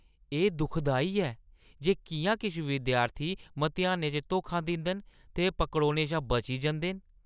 एह्‌ दुखदाई ऐ जे किʼयां किश विद्यार्थी मतेहानें च धोखा दिंदे न ते पकड़ोने शा बची जंदे न।